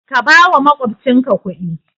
Ka bawa makwabcinka kudi